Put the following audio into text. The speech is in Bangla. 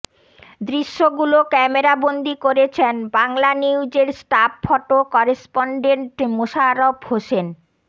দৃশ্যগুলো ক্যামেরাবন্দি করেছেন বাংলানিউজের staff photo correspondent Mosharraf Hossain